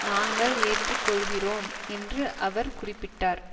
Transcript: நாங்கள் ஏற்று கொள்கிறோம் என்று அவர் குறிப்பிட்டார்